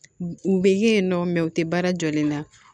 U bɛ ye nɔ u tɛ baara jɔlen na